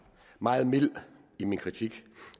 meget mild i min kritik